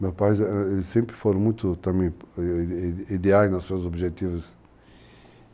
Meus pais, eles eles sempre foram muito, também, ideais nos seus objetivos.